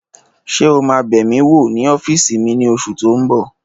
Ṣé o máa bẹ̀ mí wò ní ọ́fìsì mi ní oṣù tó n bọ̀?